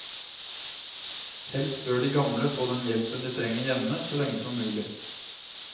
Helst bør de gamle få den hjelpen de trenger hjemme så lenge som mulig.